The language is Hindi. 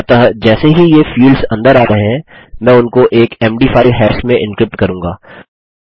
अतः जैसे ही ये फील्ड्स अंदर आ रहे हैं मैं उनको एक मद 5 हाश में एन्क्रिप्ट करूँगा